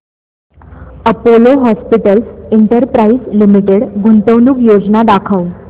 Apollo hospitals enterprise limited गुंतवणूक योजना दाखव